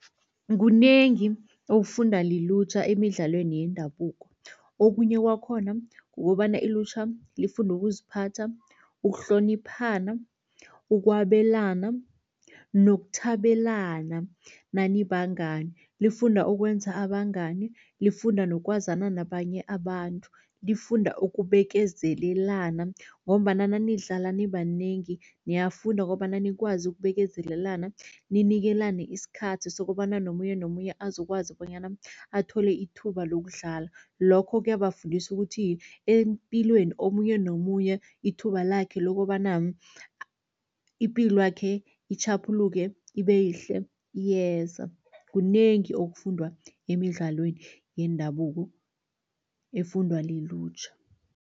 Kunengi okufundwa lilutjha emidlalweni yendabuko, okhunye kwakhona kukobana ilutjha lifunda ukuziphatha, ukuhloniphana, ukwabelana nokuthabelana nanibangani. Lifunda ukwenza abangani, lifunda nokwazana nabanye abantu, lifunda ukubekezelelana ngombana nanidlala nibanengi niyafunda kobana nikwazi ukubekezelelana, ninikelane isikhathi sokobana nomunye nomunye azokwazi bonyana athole ithuba lokudlala. Lokho kuyabafundisa ukuthi epilweni omunye nomunye, ithuba lakhe lokobana ipilwakhe itjhaphuluke, ibe yihle iyeza. Kunengi okufundwa emidlalweni yendabuko efundwa lilutjha.